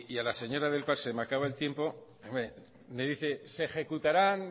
a la señora del se me acaba el tiempo me dice se ejecutarán